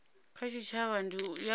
kha tshitshavha ndi ya u